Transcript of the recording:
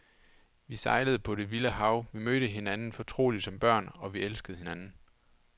Vi sejlede på det vilde hav, vi mødte hinanden fortrolige som børn, og vi elskede hinanden.